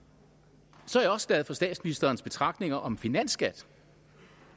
så er jeg også glad for statsministerens betragtninger om finansskat